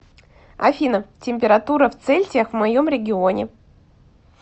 афина температура в цельсиях в моем регионе